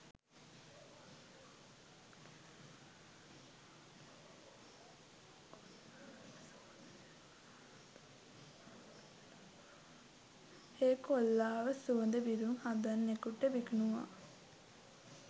ඒ කොල්ලව සුවඳ විලවුන් හදන්නෙකුට විකුණුව